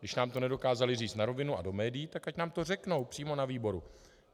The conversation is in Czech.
Když nám to nedokázali říct na rovinu a do médií, tak ať nám to řeknou přímo na výboru.